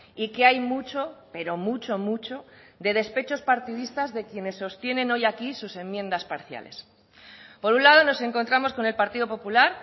y que hay mucho pero mucho mucho de despechos partidistas de quienes sostienen hoy aquí sus enmiendas parciales por un lado nos encontramos con el partido popular